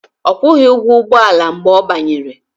Ọ kwụghị ụgwọ ụgbọala mgbe ọ banyere